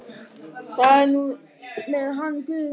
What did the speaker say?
Það er nú þetta með hann guð.